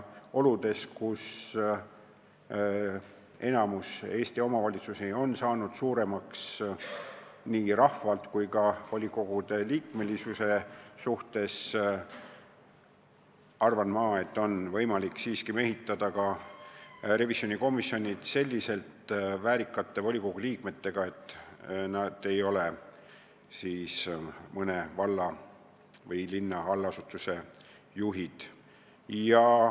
Oludes, kus enamik Eesti omavalitsusi on saanud suuremaks nii rahvaarvult kui ka volikogu liikmete arvult, on ehk võimalik mehitada revisjonikomisjonid selliste väärikate volikogude liikmetega, kes ei ole mõne valla või linna allasutuse juhid.